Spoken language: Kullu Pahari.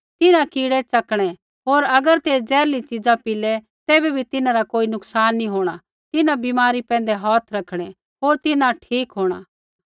तिन्हां कीड़ै च़कणै होर अगर तै जेहरली च़ीज़ा पीलै तैबै भी तिन्हां रा कोई नुकसान नैंई होंणा तिन्हां बीमारा पैंधै हौथ रखणै होर तिन्हां ठीक होंणा